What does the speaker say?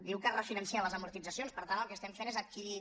diu que es refinancen les amortitzacions per tant el que estem fent és adquirir